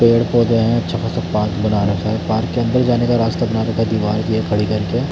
पेड़-पौधे है अच्छा ख़ासा पार्क बना रखा है पार्क के अन्दर जाने का रास्ता बना रखा है दीवार खड़ी करके --